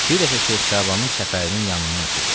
Bir dəfə Şeyx Şabanın çəpərinin yanından ötürdüm.